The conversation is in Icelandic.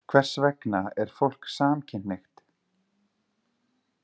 Hvers vegna er fólk samkynhneigt?